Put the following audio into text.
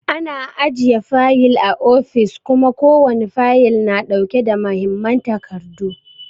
Ana ajiye fayil a ofis kuma ko wani fayil na ɗauke da muhimman takardu.